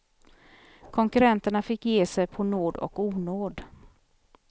Konkurenterna fick ge sig på nåd och onåd.